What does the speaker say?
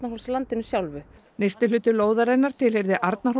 Arnarhólslandinu sjálfu hluti lóðarinnar tilheyrði